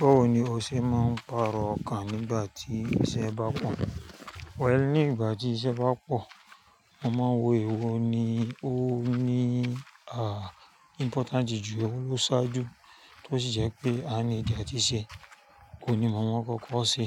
Báwo ni o ṣe máa ń pàrọ̀ ọkàn nígbà tí iṣẹ́ bá pọ̀? Wẹ̀, nígbà tí iṣẹ́ bá pọ̀, mo máa ń wo èwo ni ó ní àh, impotanti jù, ewo lósáa jù, tó sì jẹ́ pé a nidi átiṣẹ́. Ohun ní mọ̀ mọ̀ oun kókó se.